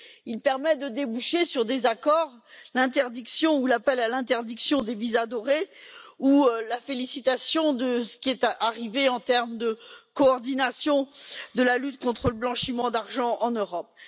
Il permet de déboucher sur des accords, l'interdiction ou l'appel à l'interdiction des visas dorés ou la félicitation de ce qui est arrivé en termes de coordination de la lutte contre le blanchiment d'argent en Europe.